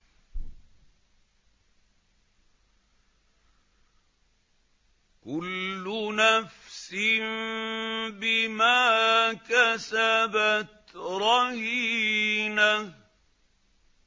كُلُّ نَفْسٍ بِمَا كَسَبَتْ رَهِينَةٌ